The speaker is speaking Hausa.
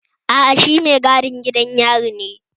Aa, shi mai gadin gidan yari ne